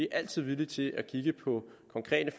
altid villige til at kigge på konkrete